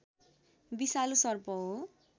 विषालु सर्प हो